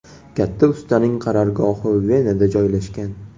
Katta ustaning qarorgohi Venada joylashgan.